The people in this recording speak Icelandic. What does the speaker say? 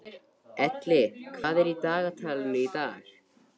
Elli, hvað er í dagatalinu í dag?